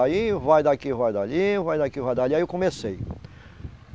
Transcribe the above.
Aí vai daqui, vai dali, vai daqui, vai dali... Aí eu comecei.